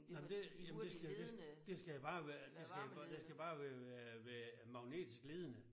Nej men det jamen det skal det det skal det skal bare være det skal det skal bare være være være magnetisk ledende